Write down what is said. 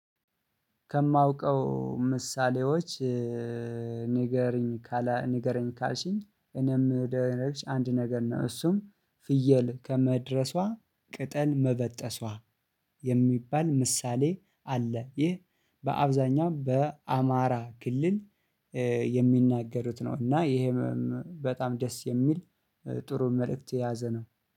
ከማውቀው ምሳሌዎች ንገረኝ ንገረኝ ካልሽኝ እኔም አንድ ነገር ነው። እሱም ፍየል ከመድረሷ ቅጠል መበጠሷ የሚባል ምሳሌ አለ። ይህ በአብዛኛው በአማራ ክልል የሚናገሩት ነው። እና ይሄ በጣም ደስ የሚል ጥሩ መልእክት የያዘ ነው